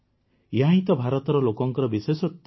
ଏହାହିଁ ତ ଭାରତର ଲୋକଙ୍କର ବିଶେଷତ୍ୱ